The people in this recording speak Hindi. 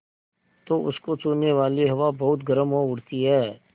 तो उसको छूने वाली हवा बहुत गर्म हो उठती है